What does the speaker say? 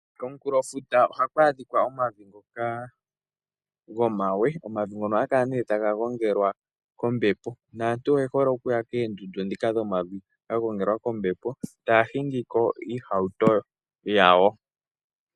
Komunkulofuta ohaku adhika omavi ngoka gomawe. Omavi ngono ohaga kala nee taga gongelwa kombepo naantu oyehole okuya koondundu ndhika dhomavi dhagongelwa kombepo taya hingiko oohauto dhawo.